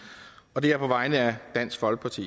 og det er på vegne af dansk folkeparti